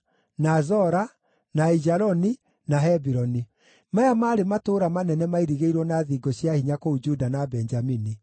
na Zora, na Aijaloni, na Hebironi. Maya maarĩ matũũra manene mairigĩirwo na thingo cia hinya kũu Juda na Benjamini.